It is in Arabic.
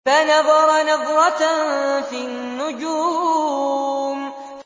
فَنَظَرَ نَظْرَةً فِي النُّجُومِ